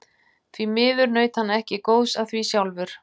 Því miður naut hann ekki góðs af því sjálfur.